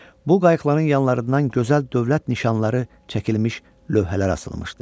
Bu qayıqların yanlarından gözəl dövlət nişanları çəkilmiş lövhələr asılmışdı.